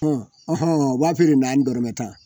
u b'a feere na ni dɔrɔmɛ tan